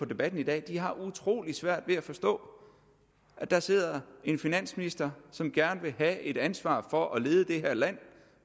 debatten i dag har utrolig svært ved at forstå at der sidder en finansminister som gerne vil have et ansvar for at lede det her land